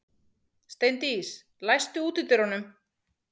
Steindís, læstu útidyrunum.